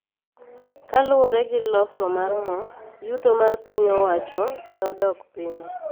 Kaluwore gi loso mar mo, yuto mar piny owacho ne odok piny